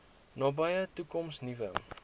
nabye toekoms nuwe